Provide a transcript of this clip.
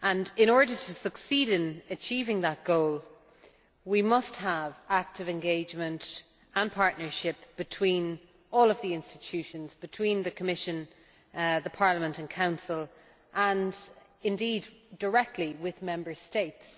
In order to succeed in achieving that goal, we must have active engagement and partnership between all of the institutions, between the Commission, Parliament and Council and, indeed, directly with Member States.